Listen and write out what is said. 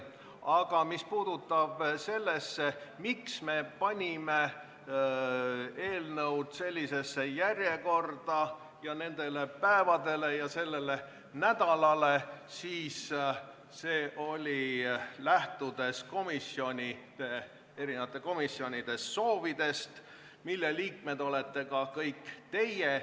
Aga mis puudutab seda, miks me panime eelnõud sellisesse järjekorda ja nendele päevadele ja sellele nädalale, siis võin öelda, et lähtusime erinevate komisjonide soovidest, mille liikmed olete ka kõik teie.